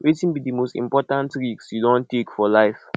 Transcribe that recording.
wetin be di most important risk you don take for life